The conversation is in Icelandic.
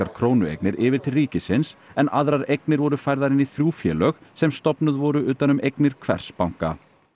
krónueignir yfir til ríkisins en aðrar eignir voru færðar inn í þrjú félög sem stofnuð voru utan um eignir hvers banka